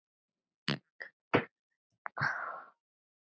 Það geri stöðuna afar slæma.